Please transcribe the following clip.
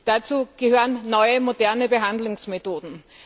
Dazu gehören neue, moderne Behandlungsmethoden.